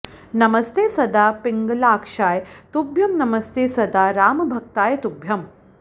नमस्ते सदा पिङ्गलाक्षाय तुभ्यं नमस्ते सदा रामभक्ताय तुभ्यम्